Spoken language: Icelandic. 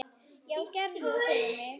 Já, gerðu það fyrir mig!